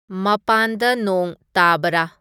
ꯃꯄꯥꯟꯗ ꯅꯣꯡ ꯇꯥꯕꯔꯥ